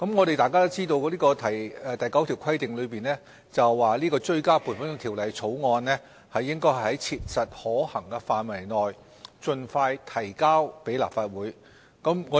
大家也知道，《條例》第9條規定追加撥款條例草案應該"在切實可行範圍內盡快提交立法會"。